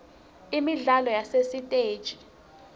imidlalo yasesitegi